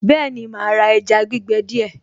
Bẹ́ẹ̀ni màá ra ẹja gbígbẹ díẹ̀